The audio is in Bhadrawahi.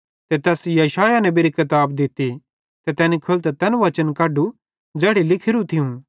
ते तैस यशायाह नेबेरी किताब दित्ती ते तैनी खोलतां तैन वचन कढू ज़ैड़ी लिखेरू थियूं कि